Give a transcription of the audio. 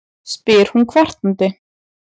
spyr hún kvartandi.